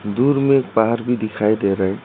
दूर में पहाड़ भी दिखाई दे रहे --